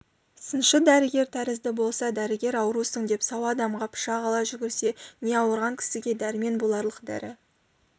сыншы дәрігер тәрізді болса дәрігер аурусың деп сау адамға пышақ ала жүгірсе не ауырған кісіге дәрмен боларлық дәрі